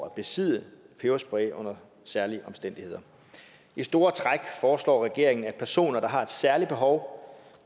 at besidde peberspray under særlige omstændigheder i store træk foreslår regeringen at personer der har et særligt behov